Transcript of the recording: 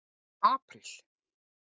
apríl